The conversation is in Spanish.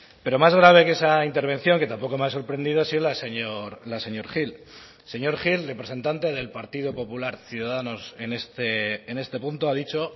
pero más grave que esa intervención que tampoco me ha sorprendido ha sido la del señor gil el señor gil representante del partido popular ciudadanos en este punto ha dicho